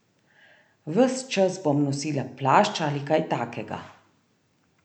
Ves čas bom nosila plašč ali kaj takega.